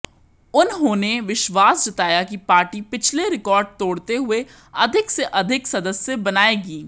उन्होंने विश्वास जताया कि पार्टी पिछले रिकार्ड तोड़ते हुए अधिक से अधिक सदस्य बनाएगी